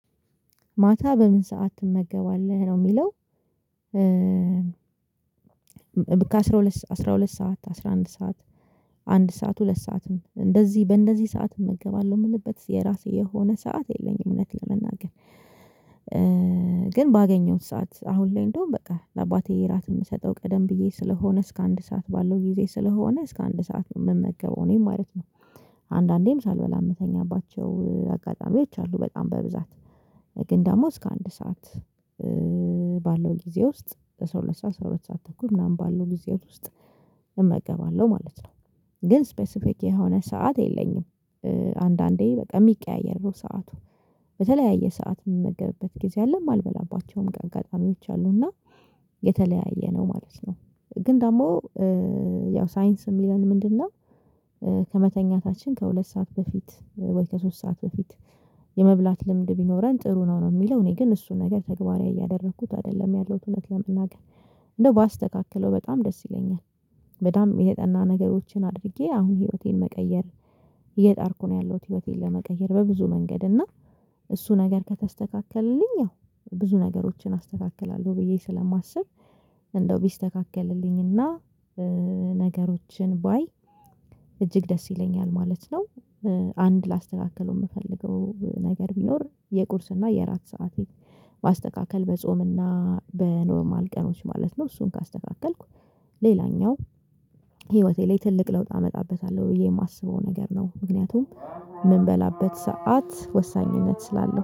ማታ በምን ሰዓት ትመገባለህ ነው የሚለው? ከአስራ ሁለት አስራ ሁለት ሰዓት አስራ አንድ ሰዓት አንድ ሰዓት ሁለት ሰዓትም እንደዚህ በእንደዚህ ሰዓት እመገባለሁ የምልበት የራሴ የሆነ ሰዓት የለኝም እውነት ለመናገር። ግን ባገኘሁት ሰዓት አሁን ላይ እንደውም በቃ ለአባቴ የራት የምሰጠው ቀደም ብዬ ስለሆነ እስከ አንድ ሰዓት ባለው ጊዜ ስለሆነ እስከ አንድ ሰዓት ነው የምመገበው እኔ ማለት ነው። አንዳንዴም ሳልበላ የምተኛባቸው አጋጣሚዎች አሉ በጣም በብዛት። ግን ደግሞ እስከ አንድ ሰዓት ባለው ጊዜ ውስጥ በ12 ሰዓት 12 ሰዓት ተኩል ምናምን ባለው ጊዜ ውስጥ እመገባለሁ ማለት ነው። ግን ስፔሲፊክ የሆነ ሰዓት የለኝም። አንዳንዴ በቃ የሚቀያየር ነው ሰዓቱ። በተለያየ ሰዓት የምንመገብበት ጊዜ አለም ማልበላባቸውም አጋጣሚዎች አሉና። የተለያየ ነው ማለት ነው። ግን ደግሞ ያው ሳይንስም እሚለን ምንድነው? ከመተኛታችን ከሁለት ሰዓት በፊት ወይ ከሶስት ሰዓት በፊት። የመብላት ልምድ ቢኖረን ጥሩ ነው ነው የሚለው እኔ ግን እሱን ነገር ተግባራዊ እያደረኩት አይደለም ያለውት እውነት ለመናገር። እንደው ባስተካክለው በጣም ደስ ይለኛል። በጣም የተጠና ነገሮችን አድርጌ አሁን ህይወቴን መቀየር እየጣርኩ ነው ያለሁት ህይወቴን ለመቀየር በብዙ መንገድ እና። እሱ ነገር ከተስተካከለልኝ ያው ብዙ ነገሮችን አስተካክላለሁ ብዬ ስለማስብ። እንደው ቢስተካከልልኝና ነገሮችን ባይ እጅግ ደስ ይለኛል ማለት ነው። አንድ ላስተካከለው የምፈልገው ነገር ቢኖር የቁርስና የአራት ሰዓቴ ማስተካከል በጾም እና በኖርማል ቀኖች ማለት ነው። እሱን ካስተካከልኩ። ሌላኛው ህይወቴ ላይ ትልቅ ለውጥ አመጣበታለሁ ብዬ የማስበው ነገር ነው። ምክንያቱም የምንበላበት ሰዓት ወሳኝነት ስላለው